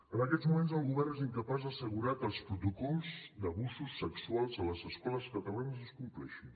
en aquests moments el govern és incapaç d’assegurar que els protocols d’abusos sexuals a les escoles catalanes es compleixin